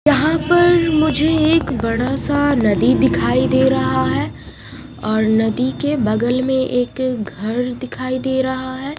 यहां पर मुझे एक बड़ा सा नदी दिखाई दे रहा है और नदी के बगल में एक घर दिखाई दे रहा है ।